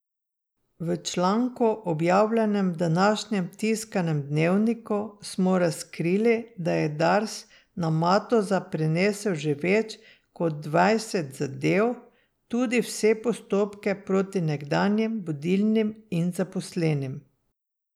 V članku, objavljenem v današnjem tiskanem Dnevniku, smo razkrili, da je Dars na Matoza prenesel že več kot dvajset zadev, tudi vse postopke proti nekdanjim vodilnim in zaposlenim.